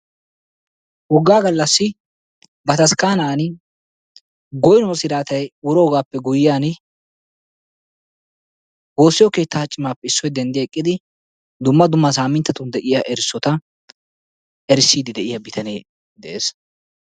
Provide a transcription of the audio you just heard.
Wogga gallassi bataskkanani goynuwoy wuroogappe guyyiyan woosiyo keetta bitanee denddi eqqidi dumma dumma saminttatun de'iyaa erissota erisside de'iyaa bitanee de'ees.